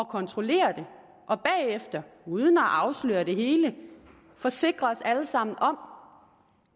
kontrollere det og bagefter uden at afsløre det hele forsikre os alle sammen om